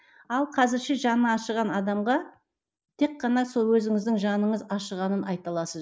ал қазірше жаны ашыған адамға тек қана сол өзіңіздің жаныңыз ашығанын айта аласыз